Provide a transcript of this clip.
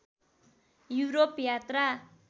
Europe यात्रा